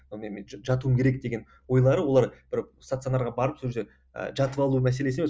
жатуым керек деген ойлары олар бір стационарға барып сол жерге ы жатып алу мәселесі емес